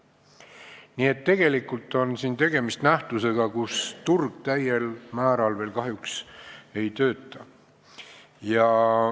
Nii et tegelikult on siin tegemist nähtusega, kus turg täiel määral veel kahjuks ei tööta.